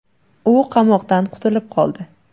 U qamoqdan qutulib qoldi.